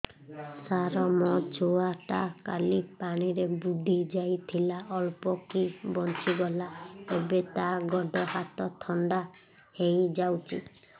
ସାର ମୋ ଛୁଆ ଟା କାଲି ପାଣି ରେ ବୁଡି ଯାଇଥିଲା ଅଳ୍ପ କି ବଞ୍ଚି ଗଲା ଏବେ ତା ଗୋଡ଼ ହାତ ଥଣ୍ଡା ହେଇଯାଉଛି